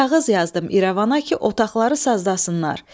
Kağız yazdım İrəvana ki, otaqları sazlasınlar.